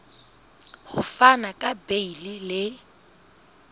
ho fana ka beile le